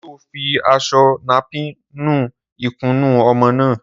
Sọ fi àsọ nàpín nú ìkúnù ọmọ nà?